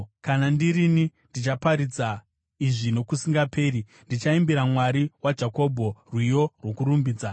Kana ndirini, ndichaparidza izvi nokusingaperi; ndichaimbira Mwari waJakobho rwiyo rwokurumbidza.